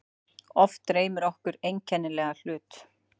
Oft dreymir okkur einkennilega hlut.